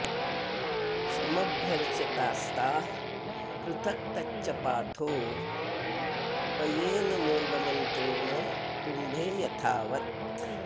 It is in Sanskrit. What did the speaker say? समभ्यर्च्य तास्ताः पृथक् तच्च पाथोऽ पयेन् मूलमन्त्रेण कुम्भे यथावत्